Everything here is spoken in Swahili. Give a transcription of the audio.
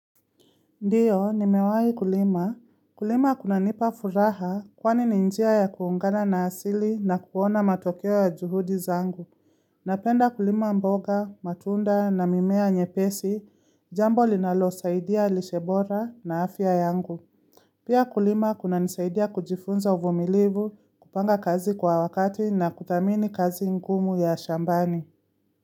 Ndiyo, nimewahi kulima. Kulima kunanipa furaha kwani ni njia ya kuungana na asili na kuona matokeo ya juhudi zangu. Napenda kulima mboga, matunda na mimea nyepesi, jambo linalosaidia lishe bora na afya yangu. Pia kulima kunanisaidia kujifunza uvumilivu, kupanga kazi kwa wakati na kuthamini kazi ngumu ya shambani.